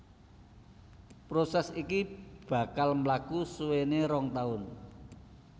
Prosès iki bakal mlaku suwéné rong taun